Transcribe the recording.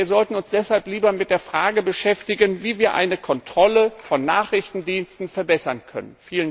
Wir sollten uns deshalb lieber mit der Frage beschäftigen, wie wir eine Kontrolle von Nachrichtendiensten verbessern können.